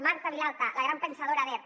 marta vilalta la gran pensadora d’erc